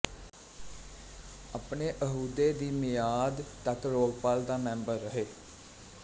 ਆਪਣੇ ਅਹੁਦੇ ਦੀ ਮਿਆਦ ਤਕ ਲੋਕਪਾਲ ਦਾ ਮੈਂਬਰ ਰਹੇ